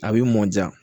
A b'i mɔ diya